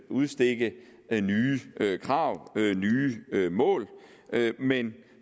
udstikke nye krav nye mål men